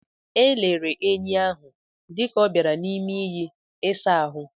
E lere enyi ahụ dịka ọ bara n'ime iyi ịsa ahụ.